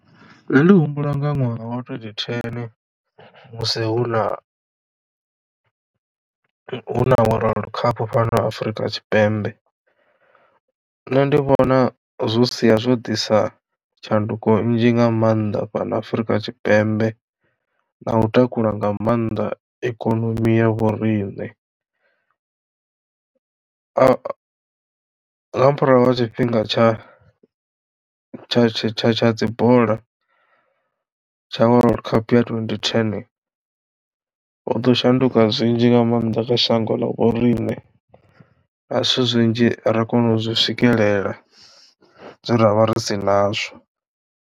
Nṋe ndi humbula nga ṅwaha wa twenty ten musi hu na hu na World Cup fhano Afrika Tshipembe nṋe ndi vhona zwo sia zwo ḓisa tshanduko nnzhi nga mannḓa fhano Afrika Tshipembe na u takula nga mannḓa ikonomi ya vhoriṋe. Tshifhinga tsha tsha tsha tsha dzi bola tsha World Cup twenty ten ho ḓo shanduka zwinzhi nga maanḓa kha shango ḽa vhoriṋe na zwithu zwinzhi ra kono u zwi swikelela zwe ra vha ri si nazwo.